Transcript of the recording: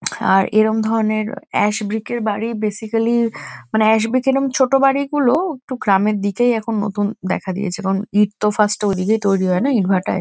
আর এরম ধরণের ash brick -এর বাড়ি বেসিক্যালি মানে অ্যাস ব্রিক এরম ছোট বাড়িগুলো একটু গ্রামের দিকেই এখন নতুন দেখা দিয়েছে। কারণ ইট তো ফার্স্ট -এ ওইদিকেই তৈরী হয় না ইটভাটায়।